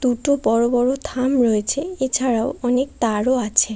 দুটো বড় বড় থাম রয়েছে এছাড়াও অনেক তারও আছে।